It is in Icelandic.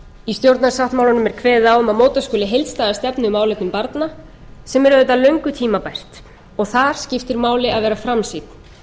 í stjórnarsáttmálanum er kveðið á um að móta skuli heildstæða stefnu í málefnum barna sem er auðvitað löngu tímabært og þar skiptir máli að vera framsýnn